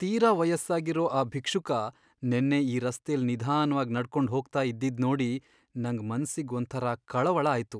ತೀರಾ ವಯಸ್ಸಾಗಿರೋ ಆ ಭಿಕ್ಷುಕ ನೆನ್ನೆ ಈ ರಸ್ತೆಲ್ ನಿಧಾನ್ವಾಗ್ ನಡ್ಕೊಂಡ್ ಹೋಗ್ತಾ ಇದ್ದಿದ್ದ್ ನೋಡಿ ನಂಗ್ ಮನ್ಸಿಗ್ ಒಂಥರ ಕಳವಳ ಆಯ್ತು.